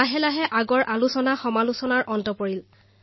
লাহে লাহে সমালোচনাও সমাপ্ত হল